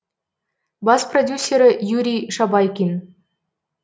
бас продюсері юрий шабайкин